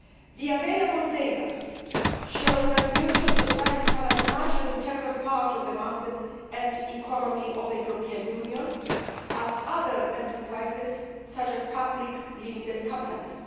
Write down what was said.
The available data show that mutual societies are as much an integral part of the market and economy of the European Union as other enterprises such as public limited companies.